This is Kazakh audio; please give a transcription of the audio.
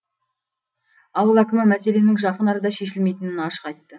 ауыл әкімі мәселенің жақын арада шешілмейтінін ашық айтты